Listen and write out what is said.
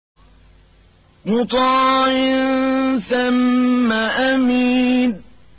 مُّطَاعٍ ثَمَّ أَمِينٍ